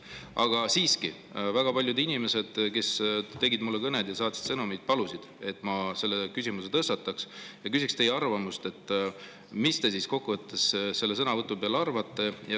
Aga siiski, väga paljud inimesed, kes võtsid mulle kõne või saatsid sõnumi, palusid, et ma selle küsimuse tõstataksin ja küsiksin teie arvamust, mis te siis kokkuvõttes sellest sõnavõtust arvate.